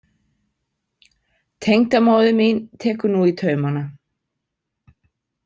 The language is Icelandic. Tengdamóðir mín tekur nú í taumana.